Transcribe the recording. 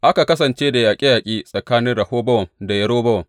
Aka kasance da yaƙe yaƙe tsakanin Rehobowam da Yerobowam.